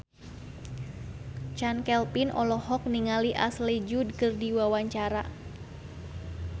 Chand Kelvin olohok ningali Ashley Judd keur diwawancara